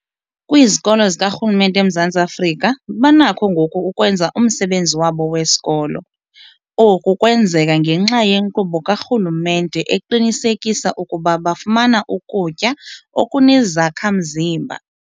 Kwizikolo zikarhulumente eMzantsi Afrika banakho ngoku ukwenza umsebenzi wabo wesikolo. Oku kwenzeka ngenxa yenkqubo karhulumente eqinisekisa ukuba bafumana ukutya okunezakha-mzimba.